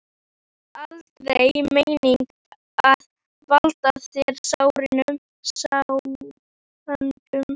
Samt var það aldrei meiningin að valda þér sárindum.